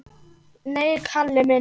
Nei, Kalli minn.